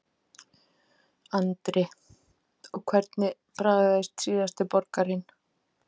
Andri: Og hvernig bragðaðist síðasti borgarinn?